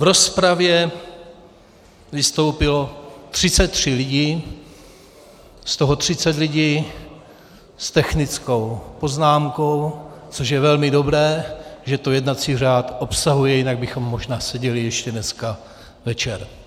V rozpravě vystoupilo 33 lidí, z toho 30 lidí s technickou poznámkou, což je velmi dobré, že to jednací řád obsahuje, jinak bychom možná seděli ještě dneska večer.